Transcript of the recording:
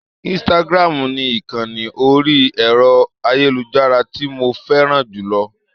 Instagram ni ìkànni orí ẹ̀rọ-ayélujára tí mo fẹ́ràn jù lọ.